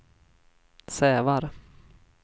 Sävar